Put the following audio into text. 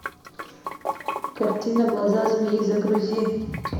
картина глаза змеи загрузи